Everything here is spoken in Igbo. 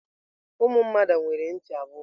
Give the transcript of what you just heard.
Ụmụ mmadụ nwere ntị abụọ.